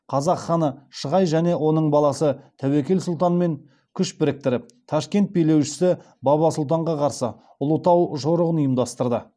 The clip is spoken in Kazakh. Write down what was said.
қазақ ханы шығай және оның баласы тәуекел сұлтанмен күш біріктіріп ташкент билеушісі баба сұлтанға қарсы ұлытау жорығын ұйымдастырды